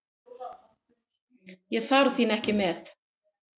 Ég þarf þín ekki með.